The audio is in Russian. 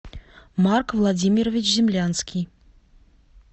марк владимирович землянский